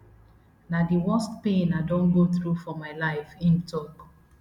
na di worst pain i don go through for my life im tok